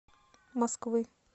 москвы